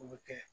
O bɛ kɛ